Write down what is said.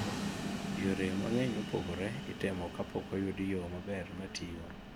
yore mang'eny mopogore itemo kapok oyudi yo maber matiyo